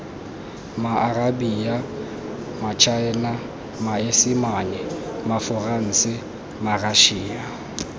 maarabia matšhaena maesimane maforanse marašia